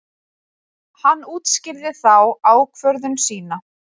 Hann útskýrði þá ákvörðun sína.